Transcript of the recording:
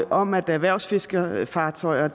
om at erhvervsfiskerfartøjer og